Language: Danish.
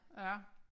Ja